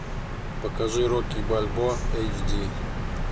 покажи рокки бальбоа эйч ди